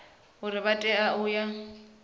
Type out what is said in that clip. uri vha tea u ya